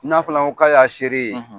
N'a fana ko k'a y'a seere ye